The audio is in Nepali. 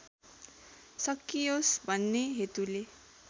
सकियोस् भन्ने हेतुले